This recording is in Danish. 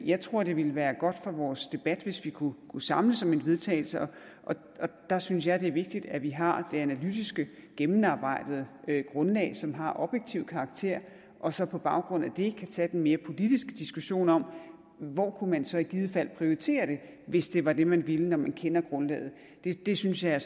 jeg tror at det ville være godt for vores debat hvis vi kunne samles om et vedtagelse og der synes jeg det er vigtigt at vi har det analytiske gennemarbejdede grundlag som har objektiv karakter og så på baggrund af det kan tage den mere politiske diskussion om hvor man så i givet fald kunne prioritere det hvis det var det man ville når man kender grundlaget det synes jeg er